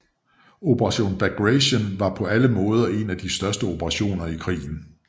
Operation Bagration var på alle måder en af de største operationer i krigen